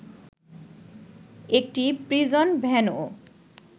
একটি প্রিজন ভ্যানও